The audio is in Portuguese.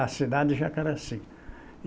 A cidade de Jacaraci.